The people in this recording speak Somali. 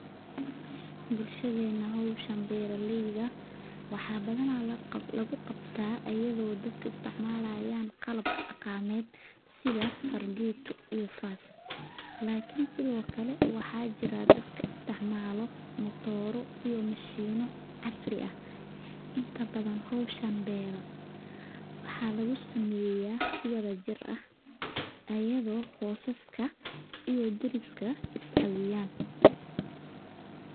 Bulshadena howshan beera leyda waxaa badana lagu qabta ayadha oo dadka istimalayin qalabka daqameed sitha fargeto iyo fas waxaa sithokale jiraa dadka isticmalo matora iyo mashino casri ah inta badan howshan waxa lagu sameya si wadha jir ah ayago qosaska iyo dariska ee iscawiyan.